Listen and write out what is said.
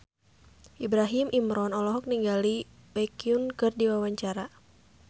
Ibrahim Imran olohok ningali Baekhyun keur diwawancara